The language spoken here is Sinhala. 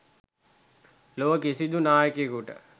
ලොව කිසිදු නායකයෙකුට,